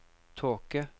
tåke